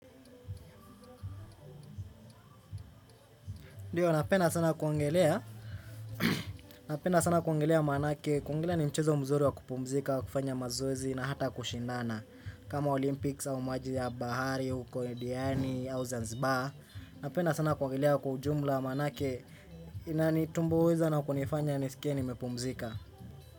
Ndiyo, napena sana kuogelea, napena sana kuogelea manake, kuogelea ni mchezo mzuri wa kupumzika, kufanya mazoezi na hata kushindana. Kama Olympics au maji ya bahari, uko diani, au zanzibar, napena sana kuogelea kwa ujumla maanake inanitumbuiza na kunifanya nisikia nimepumzika.